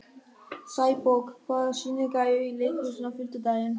Sæborg, hvaða sýningar eru í leikhúsinu á fimmtudaginn?